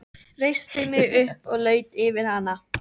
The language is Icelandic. Reisti mig upp og laut yfir hana.